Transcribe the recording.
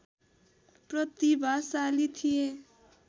प्रतिभाशाली थिए।